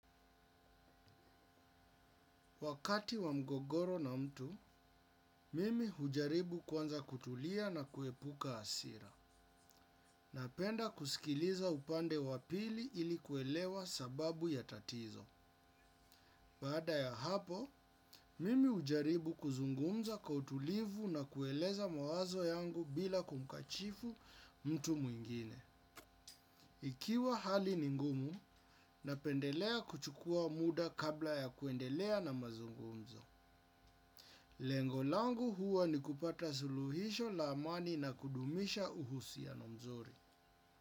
Wakati wa mgogoro na mtu, mimi hujaribu kwanza kutulia na kuepuka asira. Napenda kusikiliza upande wa pili ili kuelewa sababu ya tatizo. Baada ya hapo, mimi ujaribu kuzungumza kwa utulivu na kueleza mawazo yangu bila kumkachifu mtu mwingine. Ikiwa hali ni ngumu, napendelea kuchukua muda kabla ya kuendelea na mazungumzo. Lengo langu huwa ni kupata suluhisho la amani na kudumisha uhusiano mzuri.